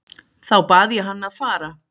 Þá bað ég hann að fara.